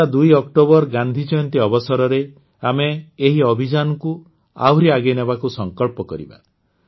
ଆସନ୍ତା ୨ ଅକ୍ଟୋବର ଗାନ୍ଧୀଜୟନ୍ତୀ ଅବସରରେ ଆମେ ଏହି ଅଭିଯାନକୁ ଆହୁରି ଆଗେଇ ନେବାକୁ ସଂକଳ୍ପ କରିବା